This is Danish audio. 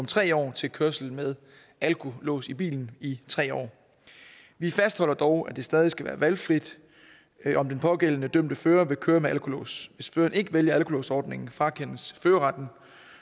tre år til kørsel med alkolås i bilen i tre år vi fastholder dog at det stadig skal være valgfrit om den pågældende dømte fører vil køre med alkolås hvis føreren ikke vælger alkolåsordningen frakendes førerretten